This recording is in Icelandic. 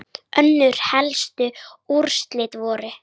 Önnur helstu úrslit voru